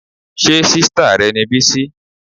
Ṣé sìstá rẹ ni Bisi?